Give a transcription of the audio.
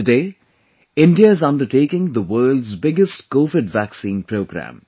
Today, India is undertaking the world's biggest Covid Vaccine Programme